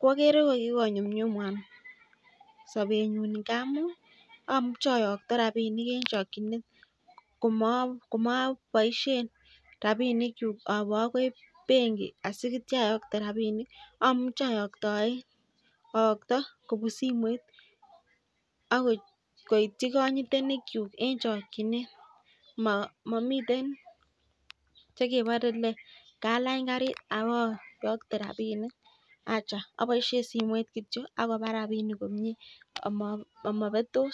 koegere ko kikonyunyumwwan missing sabet nyun amuun amuchei ayakta en chakchinet kokaboisien rabinik awe akoi bengi asiituan aboishen rabinik, amuche ayaktaen aakto kobun simoit akoityi kanyitenik kyuk en chakchinet mamiten chekebore kalany karit abayakete rabinik acha abaiishen simoit kityo Ako ba rabinik komie amaberos